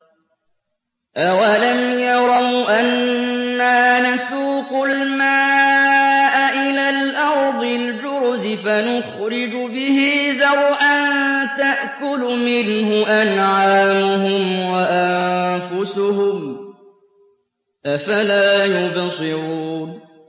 أَوَلَمْ يَرَوْا أَنَّا نَسُوقُ الْمَاءَ إِلَى الْأَرْضِ الْجُرُزِ فَنُخْرِجُ بِهِ زَرْعًا تَأْكُلُ مِنْهُ أَنْعَامُهُمْ وَأَنفُسُهُمْ ۖ أَفَلَا يُبْصِرُونَ